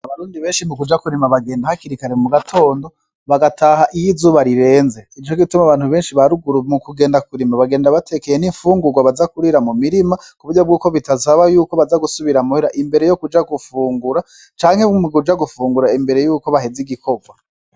Abarundi beshi mu kuja kurima bagenda hakiri kare mu gatondo bagataha iyo izuba rirenze nico gituma abantu baruguru mu kuja kurima bagenda batekeye n'imfungurwa baza kurira mu mirima kuburyo bw'uko bidasaba yuko baza gusubira muhira imbere yo kuja gufungura canke mu kuja gufungura imberebe yuko baheza igikorwa.